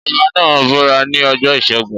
Ọbá náà búra ní ọjọ́ ìṣẹ́gun.